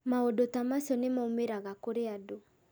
Maũndũ ta macio nĩ maumĩraga kũrĩ andũ